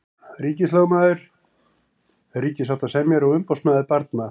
Ríkislögmaður, ríkissáttasemjari og umboðsmaður barna.